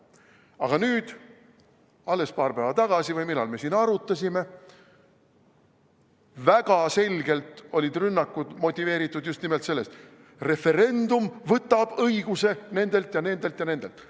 Aga nüüd, alles paar päeva tagasi või millal me siin arutasime, olid rünnakud väga selgelt motiveeritud just nimelt sellest: referendum võtab õiguse nendelt ja nendelt ja nendelt.